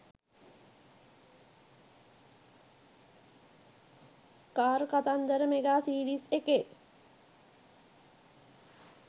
car කතන්දර mega series එකේ